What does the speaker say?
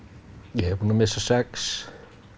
ég er búinn að missa sex